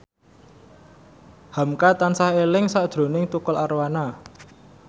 hamka tansah eling sakjroning Tukul Arwana